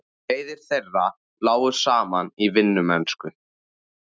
Leiðir þeirra lágu saman í vinnumennsku.